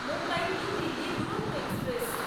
Mumbai New Delhi Duronto express